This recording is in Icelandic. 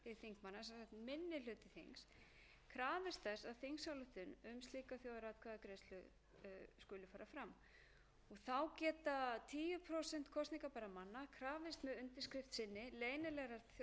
þess með þingsályktun að slík þjóðaratkvæðagreiðsla skuli fara fram þá geta tíu prósent kosningarbærra manna krafist með undirskrift sinni leynilegrar þjóðaratkvæðagreiðslu samkvæmt lögum þessum verði frumvarpið